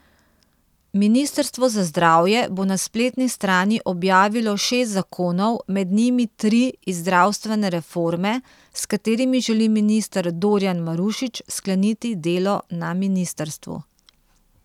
Ministrstvo za zdravje bo na spletni strani objavilo šest zakonov, med njimi tri iz zdravstvene reforme, s katerimi želi minister Dorjan Marušič skleniti delo na ministrstvu.